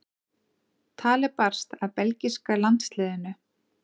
Talið barst að belgíska landsliðinu.